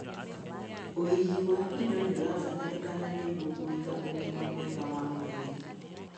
ũigi wa indo nĩũrabatararĩkan nĩguo kũiga ũgima mwega wa mwĩrĩ